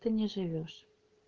ты не живёшь